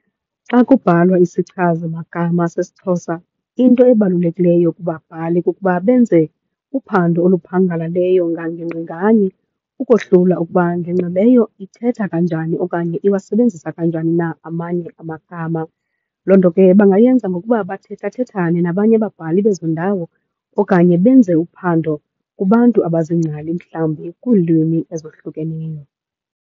Xa kubhalwa isichazimagama sesiXhosa into ebalulekileyo kubabhali kukuba benze uphando oluphangalaleyo ngangingqi nganye, ukohlula ukuba ngingqi leyo ithetha kanjani okanye iwasebenzisa kanjani na amanye amagama. Loo nto ke bangayenza ngokuba bathethathethane nabanye ababhali bezo ndawo, okanye benze uphando kubantu abaziingcali mhlawumbi kwiilwimi ezohlukeneyo.